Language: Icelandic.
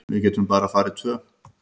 Við getum bara farið tvö.